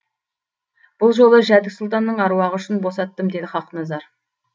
бұл жолы жәдік сұлтанның аруағы үшін босаттым деді хақназар